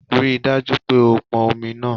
Rí i dájú pé o pọn omi náà